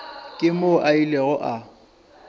ke moo a ilego a